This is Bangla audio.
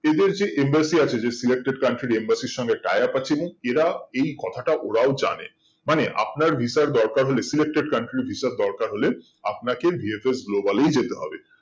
এদের যে embassy আছে যে selected country embassy সঙ্গে tie up আছে এরা এই কথাটা ওরাও জানে মানে আপনার visa দরকার হলে selected country visa দরকার হলে আপনাকে VFS Global এই যেতে হবে